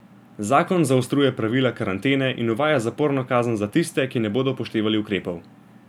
Zakon zaostruje pravila karantene in uvaja zaporno kazen za tiste, ki ne bodo upoštevali ukrepov.